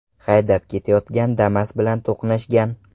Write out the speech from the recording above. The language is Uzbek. haydab ketayotgan Damas bilan to‘qnashgan.